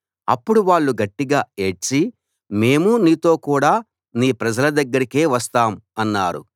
అప్పుడు వాళ్ళు గట్టిగా ఏడ్చి మేము నీతో కూడా నీ ప్రజల దగ్గరకే వస్తాం అన్నారు